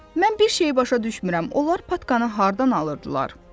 Mən bir şeyi başa düşmürəm, onlar patkanı hardan alırdılar?